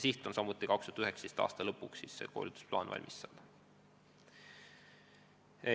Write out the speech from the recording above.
Siht on saada koolitusplaan valmis 2019. aasta lõpuks.